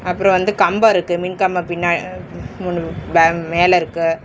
அப்றோ வந்து கம்ப இருக்கு மின்கம்பம் பின்னா அ மூனு பே மேல இருக்கு.